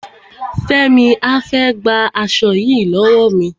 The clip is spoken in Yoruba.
Fẹ́mi á fẹ́ gba aṣo yìí lọ́wọ́ mi.